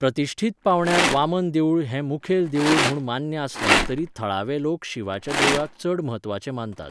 प्रतिश्ठीत पांवड्यार वामन देवूळ हें मुखेल देवूळ म्हूण मान्य आसलें तरी थळावे लोक शिवाच्या देवळाक चड म्हत्वाचें मानतात.